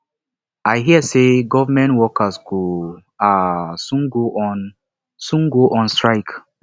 i hear say government workers go um soon go on soon go on strike